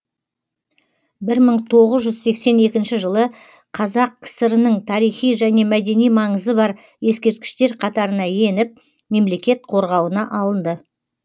бір мың тоғыз жүз сексен екінші жылы қазақ кср нің тарихи және мәдени маңызы бар ескерткіштер қатарына еніп мемлекет қорғауына алынды